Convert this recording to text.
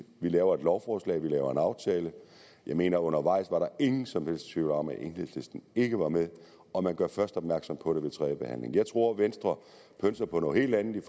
vi laver et lovforslag og vi laver en aftale jeg mener at undervejs var der ingen som helst tvivl om at enhedslisten ikke var med og man gjorde først opmærksom på det ved tredje behandling jeg tror venstre pønser på noget helt andet i